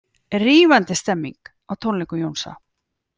Rífandi stemning á tónleikum Jónsa